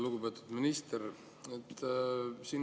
Lugupeetud minister!